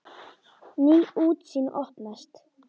Ný útsýn opnast.